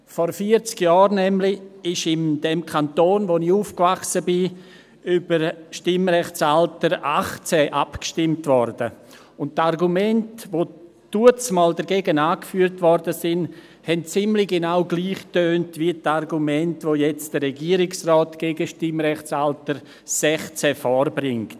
Vor vierzig Jahren wurde nämlich im Kanton, in dem ich aufgewachsen bin, über das Stimmrechtsalter 18 abstimmt – und die Argumente, welche dagegen angeführt wurden, tönten ziemlich genau gleich, wie die Argumente, welche jetzt der Regierungsrat gegen das Stimmrechtsalter 16 vorbringt.